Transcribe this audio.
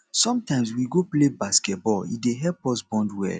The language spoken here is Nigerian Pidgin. sometimes we go play basketball e dey help us bond well